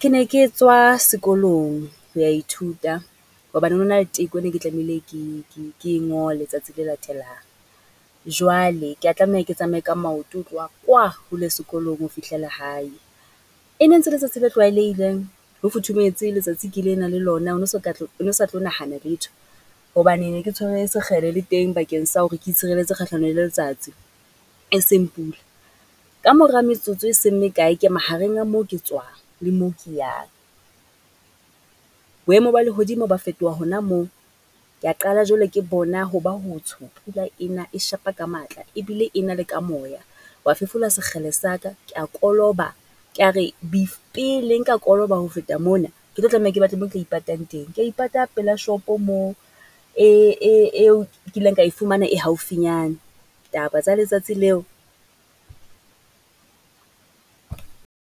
ke ne ke tswa sekolong ho ya ithuta hobane ho no na le teko ene ke tlamehile ke ke ke e ngole tsatsi le latelang. Jwale kea tlameha ke tsamaye ka maoto ho tloha kwa hole sekolong ho fihlela hae. E ne ntse e ke tsatsi le tlwaelehileng, ho futhumetse letsatsi ke le na le lona o no o no sa tlo nahana letho, hobane ne ke tshwere sekgele le teng bakeng sa hore ke itshireletse kgahlano le letsatsi, e seng pula. Kamora metsotso e seng mekae, ke mahareng a moo ke tswang le moo yang. Boemo ba lehodimo ba fetoha hona moo, ke a qala jwale ke bona ho ba ho tsho, pula ena e shapa ka matla ebile ena le ka moya. Wa fefola sekgele sa ka, ke a koloba ka re pele nka koloba ho feta mona, ke tlo tlameha ke batle mo ke tla ipatang teng. Ke a ipata pela shopo moo, e eo kileng ka e fumana e haufinyane, taba tsa letsatsi leo.